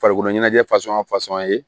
Farikolo ɲɛnajɛ ye